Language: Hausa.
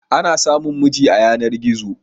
Ana samun miji a yanar-gizo.